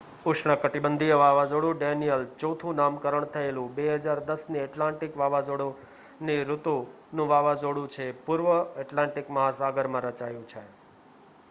ઉષ્ણકટિબંધીય વાવાઝોડું ડેનિયલ ચોથું નામકરણ થયેલું 2010ની એટલાન્ટિક વાવાઝોડાની ઋતુનું વાવાઝોડું છે પૂર્વ એટલાન્ટિક મહાસાગરમાં રચાયું છે